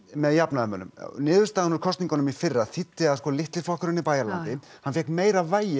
með jafnaðarmönnum niðurstaðan úr kosningunum í fyrra þýddi að litli flokkurinn í Bæjaralandi fékk meira vægi